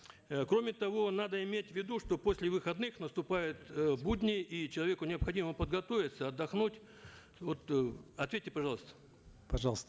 э кроме того надо иметь в виду что после выходных наступают э будни и человеку необходимо подготовиться отдохнуть вот э ответьте пожалуйста пожалуйста